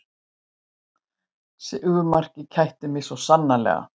Sigurmarkið kætti mig svo sannarlega